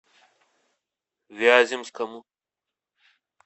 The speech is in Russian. вяземскому